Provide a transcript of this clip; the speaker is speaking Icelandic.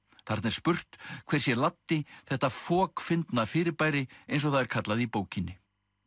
þarna er spurt hver sé Laddi þetta fokfyndna fyrirbæri eins og það er kallað í bókinni